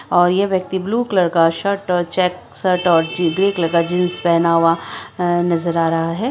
--और ये व्यक्ति ब्लू कलर का शर्ट ओर चेक्स शर्ट और ग्रे कलर जीन्स पहना हुआ नजर आ रहे है।